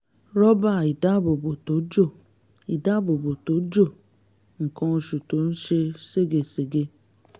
rọ́bà ìdáàbòbò tó jò ìdáàbòbò tó jò nǹkan oṣù tó ń ṣe segesège